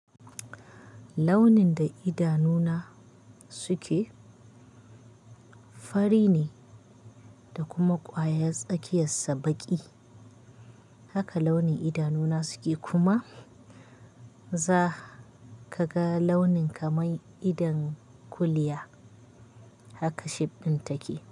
Launin da idanuna suke fari ne da kuma kwayar tsakiyarsa baƙi. Haka launin idanuna suke kuma za ka ga launin kamar idon kuliya. Haka shape ɗin take.